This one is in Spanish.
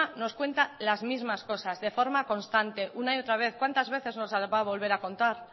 nos cuenta las mismas cosas de forma constante una y otra vez cuantas veces nos las va a volver a contar